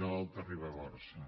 de l’alta ribagorça